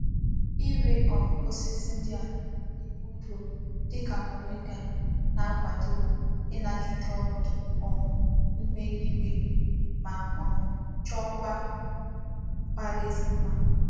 Ire um osisi ndi a na-enwe ndo dika moringa na-akwado n'inagide onodu um ihu eluigwe ma um chokwa mbaraezi mma.